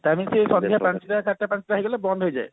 ତା ମାନେ ସେଇ ସନ୍ଧ୍ଯା ପାଞ୍ଚଟା ସାତଟା ସୁଧା ହେଇଗଲେ ବନ୍ଦ ହେଇଯାଏ